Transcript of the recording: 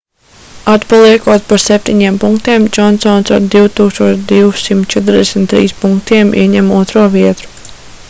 atpaliekot par 7 punktiem džonsons ar 2243 punktiem ieņem otro vietu